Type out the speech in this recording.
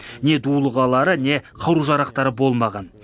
не дулығалары не қару жарақтары болмаған